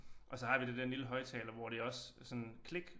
Og så har vi det der den lille højttaler hvor det også sådan klik